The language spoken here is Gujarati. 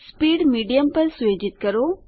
સ્પીડ મીડિયમ પર સુયોજિત કરો